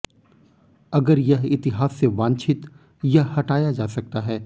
अगर यह इतिहास से वांछित यह हटाया जा सकता है